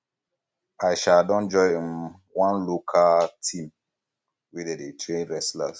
i um don join um one local um team where dem dey train wrestlers